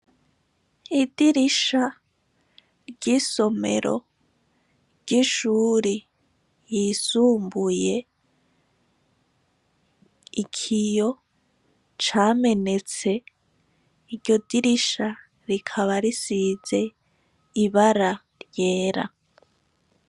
Idirisha ry'isomero ry'ishuri ryisumbuye ikiyo camenetse iryo dirisha rikaba risize ibara ryera.